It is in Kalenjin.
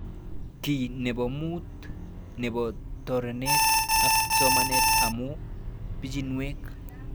Kiy nepo mut nepo tononet ab somanet amu pichinwek